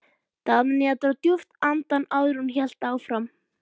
Daðína dró djúpt andann áður en hún hélt áfram.